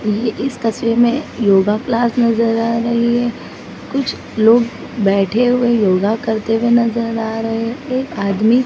ये इस तस्वीर में योगा क्लास नजर आ रही है कुछ लोग बैठे हुए योगा करते हुए नजर आ रहे एक आदमी--